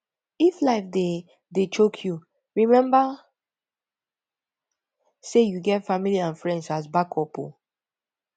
if life dey dey choke you remmba sey yu get family and friends as backup o